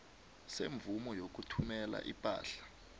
semvumo yokuthumela ipahla